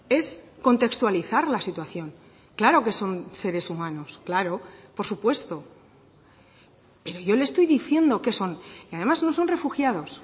es contextualizar la situación claro que son seres humanos claro por supuesto pero yo le estoy diciendo qué son y además no son refugiados